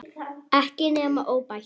Ekki nema óbeint.